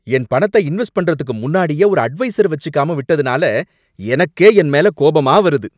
என் பணத்த இன்வெஸ்ட் பண்றதுக்கு முன்னாடியே ஒரு அட்வைசர வச்சுக்காம விட்டதுனால எனக்கே என் மேல கோபமா வருது